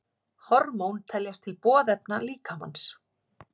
Hormón teljast til boðefna líkamans.